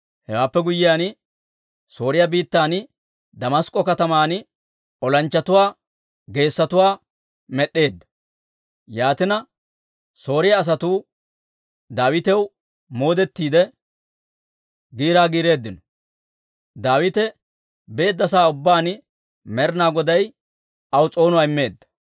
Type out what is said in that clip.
Hewaappe guyyiyaan, Sooriyaa biittan Damask'k'o kataman olanchchatuwaa geessotuwaa med'd'eedda. Yaatina, Sooriyaa asatuu Daawitaw moodettiide, giiraa giireeddino. Daawite beedda sa'aa ubbaan Med'inaa Goday aw s'oonuwaa immeedda.